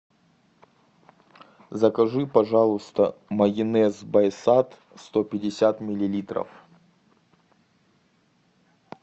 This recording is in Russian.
закажи пожалуйста майонез байсад сто пятьдесят миллилитров